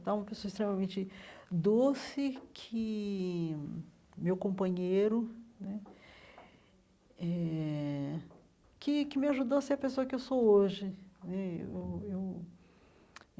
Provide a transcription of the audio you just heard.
Então uma pessoa extremamente doce, que meu companheiro né eh, que que me ajudou a ser a pessoa que sou hoje né eu eu.